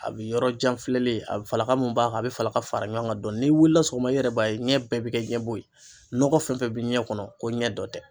A bi yɔrɔjanfilɛ ye a falaka min b'a kan a bɛ falaka fara ɲɔgɔn kan dɔɔni n'i wulila sɔgɔma i yɛrɛ b'a ye ɲɛ bɛɛ bɛ kɛ ɲɛbo ye nɔgɔ fɛn fɛn bɛ ɲɛ kɔnɔ ko ɲɛ dɔ tɛ.